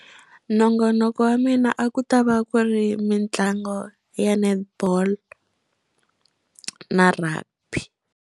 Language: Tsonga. Nongonoko wa mina a ku ta va ku ri mitlango ya netball na rugby.